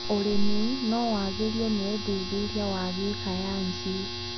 ũrĩmi nowagĩrio nĩũthuthuria wa gĩsayansi.